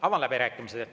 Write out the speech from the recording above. Avan läbirääkimised.